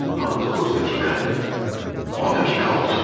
Amma doqquz dəqiqə, on dəqiqə oldu.